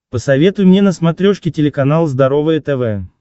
посоветуй мне на смотрешке телеканал здоровое тв